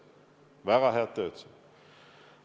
Väga head tööd.